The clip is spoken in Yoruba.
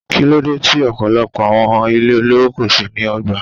Kíló dé tí ọ̀pọ̀lọpọ̀ awon ilé olówó kò ṣe ní ọgbà?